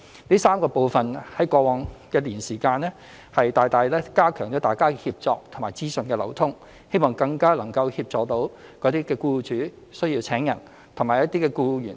這3個部分在過往一年大大加強了大家的協作和資訊流通，希望更能協助需要聘請員工的僱主及需要求職的僱員。